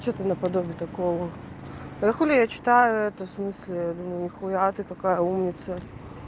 что-то наподобие такого а хули я читаю это смысле думаю нехуя ты такая умница